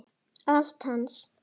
Allt hans.